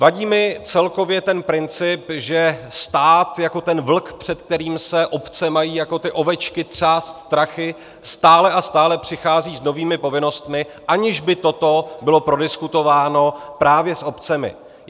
Vadí mi celkově ten princip, že stát jako ten vlk, před kterým se obce mají jako ty ovečky třást strachy, stále a stále přichází s novými povinnostmi, aniž by toto bylo prodiskutováno právě s obcemi.